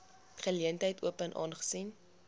geleentheid open aangesien